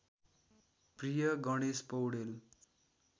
प्रिय गणेश पौडेल